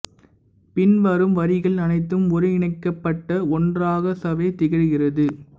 பின்வரும் வரிகள் அனைத்தும் ஒருங்கிணைக்கப்பட்ட ஒன்றாக ச சே வ திகழுகிறது